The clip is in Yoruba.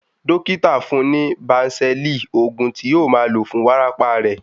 Dókítà fún-un ní bánsẹ̀lì, òògùn tí yóò máa lò fún wárápá rẹ̀.